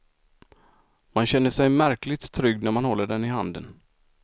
Man känner sig märkligt trygg när man håller den i handen.